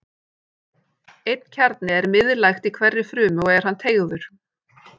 Einn kjarni er miðlægt í hverri frumu og er hann teygður.